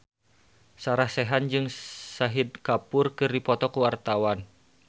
Sarah Sechan jeung Shahid Kapoor keur dipoto ku wartawan